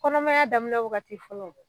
Kɔnɔmaya daminɛ wagati fɔlɔ